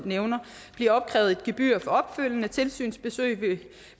blive opkrævet et gebyr for opfølgende tilsynsbesøg